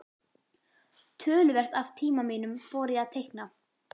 Töluvert af tíma mínum fór í að teikna.